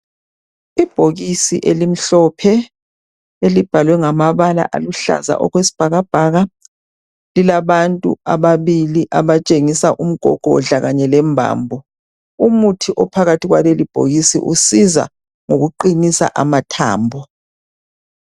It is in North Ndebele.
Ibhokisi elimhlophe elibhalwe ngamabala aluhlaza okwesibhakabhala lilabantu ababili abatshengisa umgogodla kanye lembambo. Umuthi ophakathi kwaleli bhokisi usiza ngokuqinisa amathambo.